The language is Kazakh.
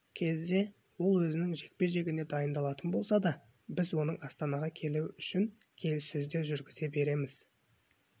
кезде ол өзінің жекпе-жегіне дайындалатын болса да біз оның астанаға келуі үшін келіссөздер жүргізе береміз